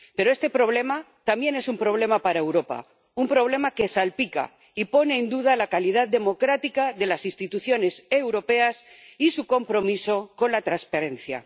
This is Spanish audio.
Pero este problema también es un problema para Europa, un problema que salpica y pone en duda la calidad democrática de las instituciones europeas y su compromiso con la transparencia.